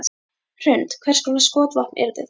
Hrund: Hvers konar skotvopn yrðu það?